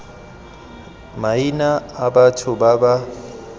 maina a batho ba ba